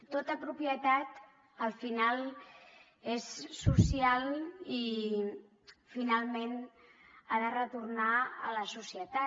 tota propietat al final és social i finalment ha de retornar a la societat